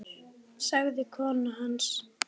sagði kona hans.